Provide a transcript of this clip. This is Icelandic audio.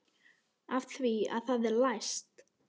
Af því að það er læst.